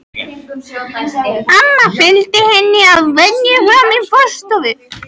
Amma fylgir henni að venju fram í forstofu.